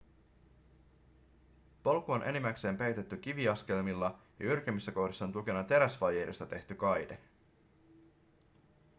polku on enimmäkseen peitetty kiviaskelmilla ja jyrkemmissä kohdissa on tukena teräsvaijerista tehty kaide